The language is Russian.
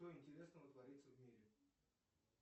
что интересного творится в мире